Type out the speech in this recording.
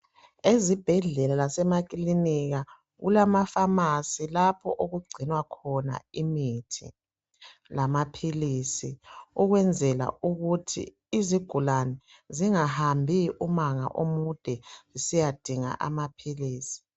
Ezibhedlela lasemakilinika kulama pharmacy lapho okugcinwa khona imithi lamaphilisi okwenzela ukuthi izigulane zingahambi umango omude zisiyadinga amaphilisi